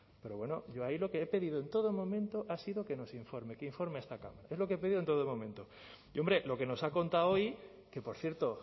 pero bueno yo ahí lo que he pedido en todo momento ha sido que nos informe que informe a esta cámara es lo que he pedido en todo momento y hombre lo que nos han contado hoy que por cierto